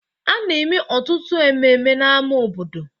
A na-eme ọtụtụ ememme n'ámá obodo